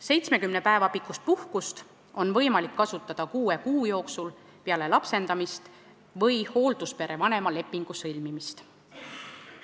70 päeva pikkust puhkust on võimalik kasutada kuue kuu jooksul peale lapsendamist või hoolduspere vanema lepingu sõlmimist.